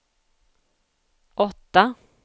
åtta